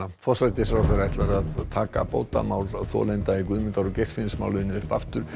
forsætisráðherra ætlar að taka bótamál þolenda í Guðmundar og Geirfinnsmáli upp aftur